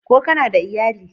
Ko kana da iyali?